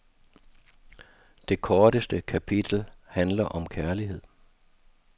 Det korteste kapitel handler om kærlighed.